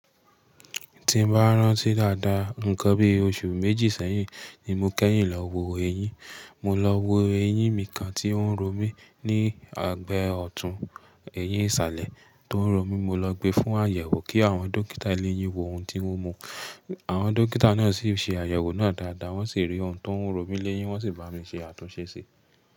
Tí n bá rántí dáadáa, nǹkan bí oṣù méjì sẹ́yìn ni mo kẹ́yìn lọ wo eyín. Mo lọ wo eyín mi kan tí ó ń ro mí ní àgbẹ ọ̀tún eyín ìsàlẹ̀ tó ń ro mí. Mo lọ gbe fún àyẹ̀wò kí àwọn dókítà ilé eyín wo ohun tí ó mú. Àwọn dókítà náà sì ṣe àyẹ̀wò náà dáadáa wọ́n sì rí ohun tó ń ro mí léyín, wọ́n sì bá mi ṣe àtúnṣe síi.